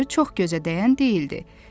Tacı çox gözə dəyən deyildi.